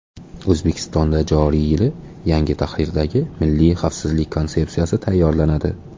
O‘zbekistonda joriy yili yangi tahridagi Milliy xavfsizlik konsepsiyasi tayyorlanadi.